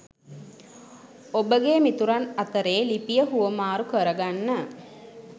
ඔබගේ මිතුරන් අතරේ ලිපිය හුවමාරු කරගන්න